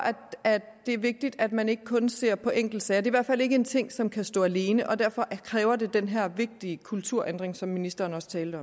at det er vigtigt at man ikke kun ser på enkeltsager det hvert fald ikke en ting som kan stå alene og derfor kræver det den her vigtige kulturændring som ministeren også talte